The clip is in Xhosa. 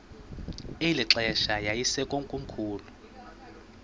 eli xesha yayisekomkhulu